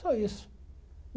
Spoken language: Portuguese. Só isso.